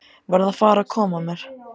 Verð að fara að koma mér.